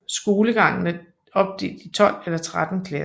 Skolegangen er opdelt i 12 eller 13 klasser